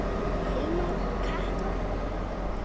Hilmar og Katla.